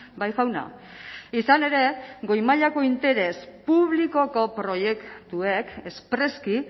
bai jauna izan ere goi mailako interes publikoko proiektuek espreski